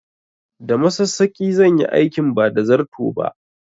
Da masassaƙi zan yi aikin ba da zarto ba